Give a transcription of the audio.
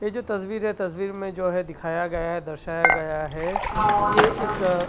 ये जो तस्वीर है तस्वीर में जो है दिखाया गया है दर्शाया गया है ये एक अ --